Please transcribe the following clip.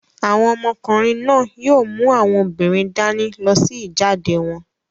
Àwọn ọmọkùnrin náà yóò mú àwọn obìnrin dání lọ sí ìjáde wọn.